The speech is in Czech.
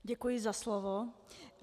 Děkuji za slovo.